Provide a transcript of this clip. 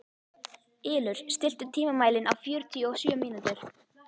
Ylur, stilltu tímamælinn á fjörutíu og sjö mínútur.